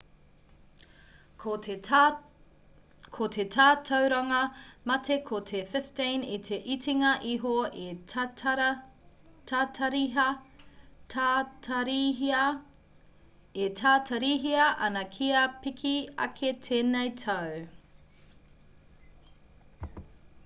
ko te tatauranga mate ko te 15 i te itinga iho e tatarihia ana kia piki ake tēnei tau